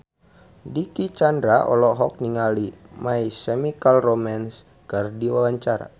Dicky Chandra olohok ningali My Chemical Romance keur diwawancara